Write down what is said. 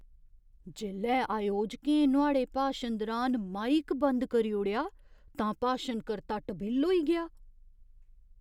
जेल्लै अयोजकें नुआढ़े भाशन दुरान माइक बंद करी ओड़ेआ तां भाशन कर्ता टबिल्ल होई गेआ।